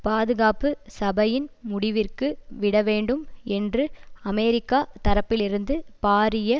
பாதுகாப்பு சபையின் முடிவிற்கு விடவேண்டும் என்று அமெரிக்கா தரப்பிலிருந்து பாரிய